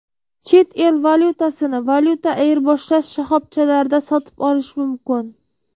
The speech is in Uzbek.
Chet el valyutasini valyuta ayirboshlash shoxobchalarida sotib olish mumkin.